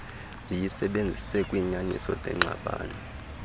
ziyisebenzise kwiinyaniso zengxabano